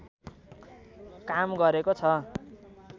काम गरेको छ